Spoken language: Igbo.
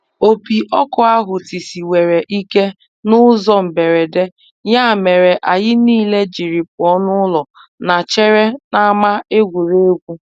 Opi ọkụ ahụ tisiwere ikè n'ụzọ mberede ya mere anyị niile jiri pụọ n'ụlọ na chere n'ama egwuregwu.